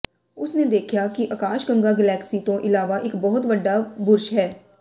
ਉਸ ਨੇ ਦੇਖਿਆ ਕਿ ਆਕਾਸ਼ਗੰਗਾ ਗਲੈਕੀ ਤੋਂ ਇਲਾਵਾ ਇੱਕ ਬਹੁਤ ਵੱਡਾ ਬੁਰਸ਼ ਹੈ